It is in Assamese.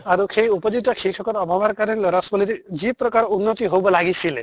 আৰু সেই উপযুক্ত শিক্ষকৰ অভাৱৰ কাৰণে লʼৰা ছোৱালীৰ যি প্ৰকাৰ উন্নতিন হʼব লাগিছিলে